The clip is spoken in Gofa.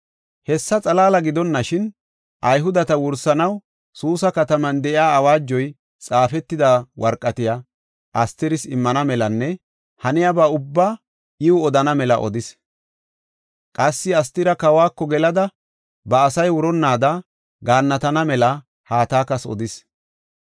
Hessa xalaala gidonashin, Ayhudeta wursanaw Suusa kataman keyida awaajoy xaafetida worqatiya Astiris immana melanne haniyaba ubbaa iw odana mela odis. Qassi Astira kawako gelada, ba asay wuronnaada gaannatana mela Hatakas odis.